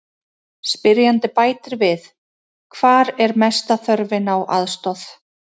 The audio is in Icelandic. Spyrjandi bætir við: Hvar er mesta þörfin á aðstoð?